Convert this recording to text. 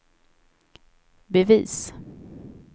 bevis